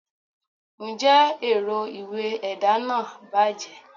njẹ erò ìwé ẹda nah bajé?